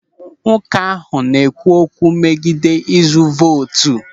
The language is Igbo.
Nwoke ahụ na-ekwu okwu megide izu vootu.